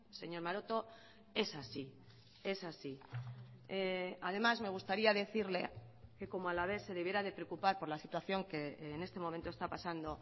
señor maroto es así es así además me gustaría decirle que como alavés se debiera de preocupar por la situación que en este momento está pasando